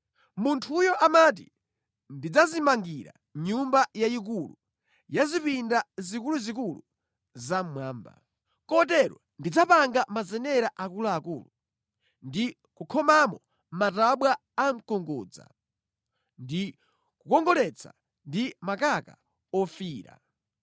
Munthuyo amati, ‘Ndidzadzimangira nyumba yayikulu ya zipinda zikuluzikulu zamʼmwamba.’ Kotero ndidzapanga mazenera akuluakulu, ndi kukhomamo matabwa a mkungudza ndi kukongoletsa ndi makaka ofiira.